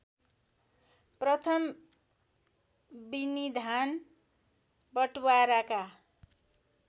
प्रथम विनिधान बटवाराका